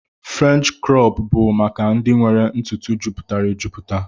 French crọp bu maka ndi nwere ntutu juputara ejuputa.